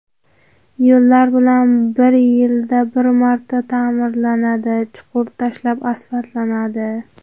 Yo‘llar bir yilda bir marta ta’mirlanadi, chuqur tashlab asfaltlanadi.